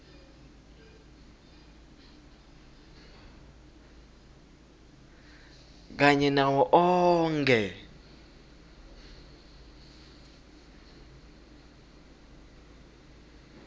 kanye nawo onkhe